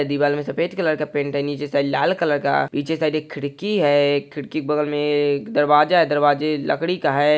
दीवाल में सफ़ेद कलर का पेंट है नीचे साइड लाल कलर का पिछे साइड एक खिड़की है। खिड़की के बगल में एक दरवाजा है दरवाजा लकड़ी का है।